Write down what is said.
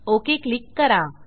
okay click करा